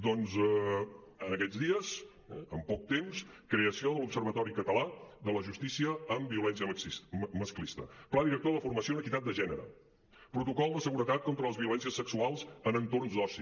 doncs en aquests dies en poc temps creació de l’observatori català de la justícia en violència masclista pla director de formació en equitat de gènere protocol de seguretat contra les violències sexuals en entorns d’oci